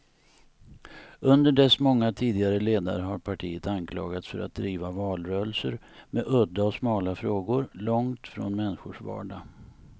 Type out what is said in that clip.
Under dess många tidigare ledare har partiet anklagats för att driva valrörelser med udda och smala frågor, långt från människors vardag.